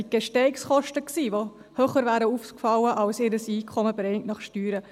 Es waren die Gestehungskosten, die höher ausgefallen wären als ihr bereinigtes Einkommen nach Steuern.